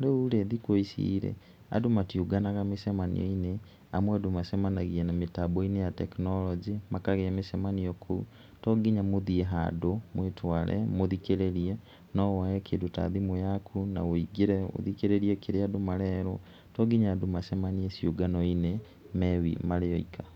Rĩu rĩ, thikũ ici rĩ, andũ matiũnganaga mĩcemanio-inĩ, amu andũ macemanagia mĩtambo-inĩ ya tekinoronjĩ makagĩa mĩcemani kũu, to nginya mũthiĩ handũ, mwĩtware, mũthikĩrĩrie, no woe kĩndũ ta thimũ yaku na wũingĩre ũthikĩrĩrie kĩrĩa andũ marerwo, to nginya andũ macemanie ciũngano-inĩ marĩ oika.